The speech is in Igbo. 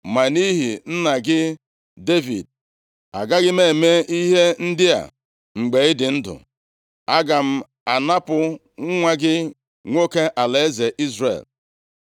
Ma nʼihi nna gị Devid agaghị m eme ihe ndị a mgbe ị dị ndụ. Aga m anapụ nwa gị nwoke alaeze Izrel.